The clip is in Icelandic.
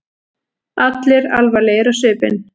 Allir alvarlegir á svipinn.